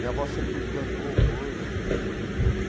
Minha avó sempre plantou coisas, né?